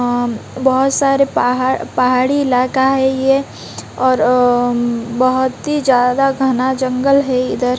अम बहोत सारे पहाड़ पहाड़ी इलाका है ये और अ अम बहोत ही ज्यादा घना जंगल है इधर --